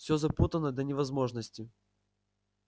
все запутано до невозможности